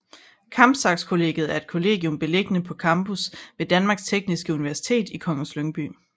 Kampsax Kollegiet er et kollegium beliggende på campus ved Danmarks Tekniske Universitet i Kongens Lyngby